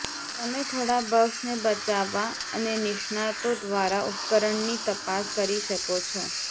તમે થોડા બક્સને બચાવવા અને નિષ્ણાતો દ્વારા ઉપકરણની તપાસ કરી શકો છો